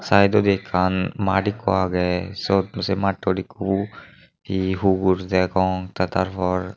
saidodi ekkan maad ikko agey syot sei mattot ikko ye hugur degong tey tar por.